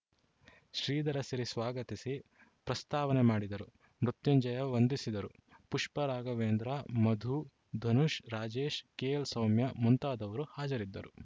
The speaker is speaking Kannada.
ಶ್ರೀಧರಸಿರಿ ಸ್ವಾಗತಿಸಿ ಪ್ರಸ್ತಾವನೆ ಮಾಡಿದರು ಮೃತ್ಯುಂಜಯ ವಂದಿಸಿದರು ಪುಷ್ಪಾ ರಾಘವೇಂದ್ರ ಮಧು ಧನುಷ್‌ ರಾಜೇಶ ಕೆಎಲ್‌ಸೌಮ್ಯ ಮುಂತಾದವರು ಹಾಜರಿದ್ದರು